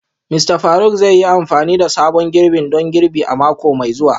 Mista Faruk zai yi amfani da sabon girbin don girbi a mako mai zuwa